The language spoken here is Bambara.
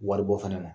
Wari bɔ fana na